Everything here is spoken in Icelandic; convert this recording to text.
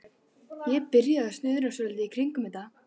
Ég byrjaði að snuðra svolítið í kringum þetta.